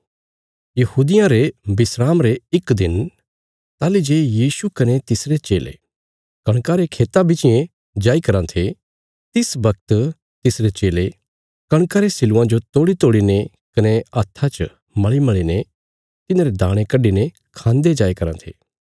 यहूदियां रे विस्राम रे इक दिन ताहली जे यीशु कने तिसरे चेले कणका रे खेतां बिच्चियें जाई कराँ थे तिस बगत तिसरे चेले कणका रे सिल्लुआं जो तोड़ीतोड़ीने कने हत्था च मल़ीमल़ीने तिन्हारे दाणे कड्डीने खांदे जाईराँ थे